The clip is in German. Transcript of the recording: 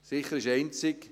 Sicher ist einzig: